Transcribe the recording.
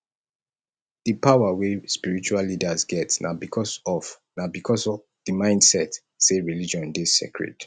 di power wey spiritual leaders get na because of na because of di mindset sey religion dey sacred